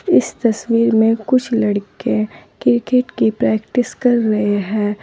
इस तस्वीर में कुछ लड़के क्रिकेट की प्रैक्टिस कर रहे हैं।